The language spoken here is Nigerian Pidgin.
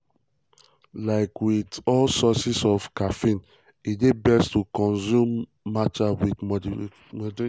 like um wit um all sources of caffeine e dey best to consume consume matcha in moderation.